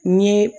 N ye